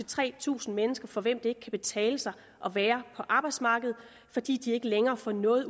tre tusind mennesker for hvem det ikke kan betale sig at være på arbejdsmarkedet fordi de ikke længere får noget